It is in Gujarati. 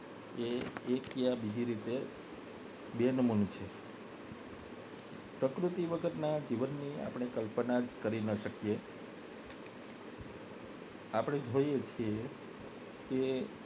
એક યા બીજા રીતે બે નંબર નું છે પ્રકૃતિ વગર ના જીવન ની કલ્પના જ ન કરી શકીએ આપને જોઈ છીએ કે